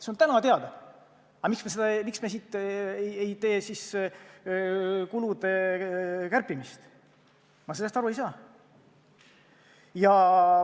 See on täna teada, aga miks me siis ei tee kulude kärpimist, sellest ma aru ei saa.